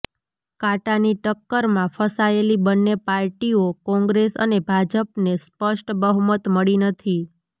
કાંટાની ટક્કરમાં ફસાયેલી બંન્ને પાર્ટીઓ કોંગ્રેસ અને ભાજપને સ્પષ્ટ બહુમત મળી નથી